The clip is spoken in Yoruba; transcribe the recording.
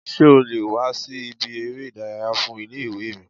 Sé o le wà sí ibi eré ìdárayá fun Ilé ìwé mi?